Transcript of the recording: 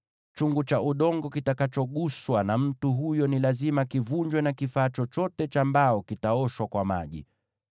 “ ‘Chungu cha udongo kitakachoguswa na mtu huyo ni lazima kivunjwe, na kifaa chochote cha mbao kitaoshwa kwa maji.